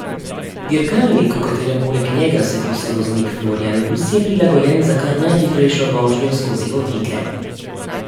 Dirkalnik, v katerem poleg njega sedi sovoznik Florjan Rus, je prilagojen za kar najhitrejšo vožnjo skozi ovinke.